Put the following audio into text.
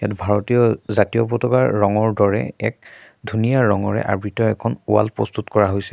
ভাৰতীয় জাতীয় পতাকাৰ ৰঙৰ দৰে এক ধুনীয়া ৰঙেৰে আবৃত এখন ৱাল প্ৰস্তুত কৰা হৈছে।